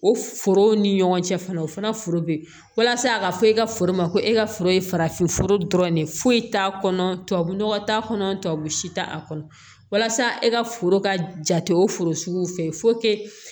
O foro ni ɲɔgɔn cɛ fana o fana foro bɛ yen walasa a ka fɔ e ka foro ma ko e ka foro ye farafinfo dɔrɔn de ye foyi t'a kɔnɔ tubabu nɔgɔ t'a kɔnɔ tubabu si t'a kɔnɔ walasa e ka foro ka jate o foro sugu fɛ